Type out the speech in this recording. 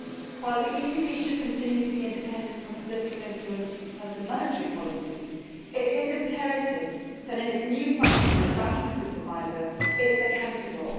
While the ECB should continue to be independent from political influence in terms of monetary policy, it is imperative that in its new function as banking supervisor it is accountable.